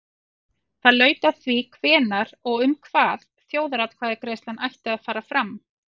Það laut að því hvenær og um hvað þjóðaratkvæðagreiðsla ætti að fara fram.